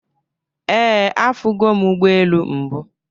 Ee, afugo m ụgbọelu mbụ